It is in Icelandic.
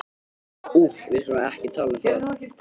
Úff, við skulum ekki tala um það.